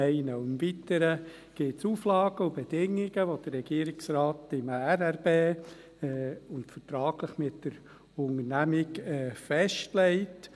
Im Weiteren gibt es Auflagen und Bedingungen, die der Regierungsrat im Regierungsratsbeschluss (RRB) und vertraglich mit der Unternehmung festlegt.